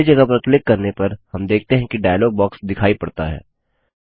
खाली जगह पर क्लिक करने पर हम देखते हैं कि डायलॉग बॉक्स दिखाई पड़ता है